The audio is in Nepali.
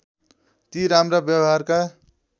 ती राम्रा व्यवहारका